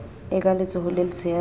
e ka letsohong le letshehadi